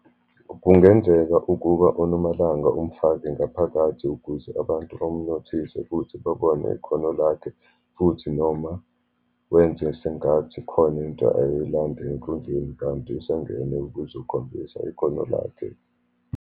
Kungenzeka ukuba uNomalanga umfake ngaphakathi ukuze abantu bamnothise, futhi babone ikhono lakhe, futhi noma wenze sengathi khona into ayoyilanda enkundleni kanti usengene ukuzokhombisa ikhono lakhe.